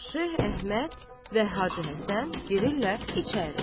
Şeyx Əhməd və Hacı Həsən girirlər içəri.